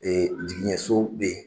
jigiɲɛ so bɛ ye.